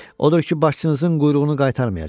Odur ki, başçınızın quyruğunu qaytarmayacam.